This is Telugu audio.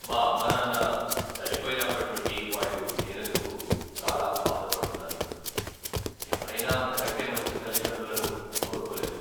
మా అమ్మానాన్న చనిపోయినప్పటి నుండి వాళ్ళు లేనందుకు చాలా బాధపడుతున్నాను. ఎవరైనా అంతకంటే మంచి తల్లిదండ్రులను కోరుకోలేరు.